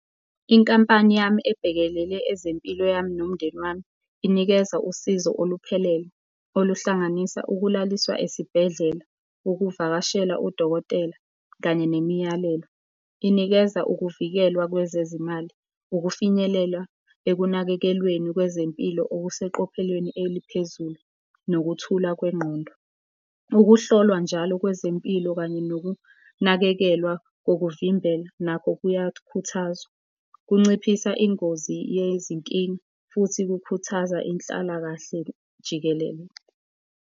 Inkampani yami ebhekelele ezempilo yami nomndeni wami inikeza usizo oluphelele oluhlanganisa ukulaliswa esibhedlela, ukuvakashela udokotela kanye nemiyalelo. Inikeza ukuvikelwa kwezezimali, ukufinyelela ekunakekelweni kwezempilo okuseqophelweni eliphezulu nokuthula kwengqondo. Ukuhlolwa njalo kwezempilo kanye nokunakekelwa kokuvimbela nakho kuyakhuthazwa, kunciphisa ingozi yezinkinga futhi kukhuthaza inhlalakahle jikelele.